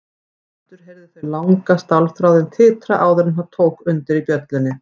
Aftur heyrðu þau langa stálþráðinn titra áður en tók undir í bjöllunni.